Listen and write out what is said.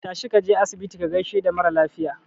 Tashi kaje asibiti ka gaishe da maralafiya